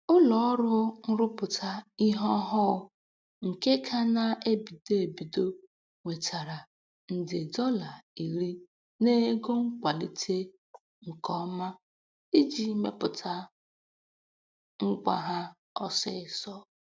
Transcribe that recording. Ụlọọrụ nrụpụta ihe ọhụụ nke ka na-ebido ebido nwetara nde dọla iri n'ego nkwalite nke ọma iji mepụta ngwa ha ọsịịsọ.